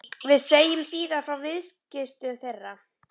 Við segjum síðar frá viðskiptum þeirra.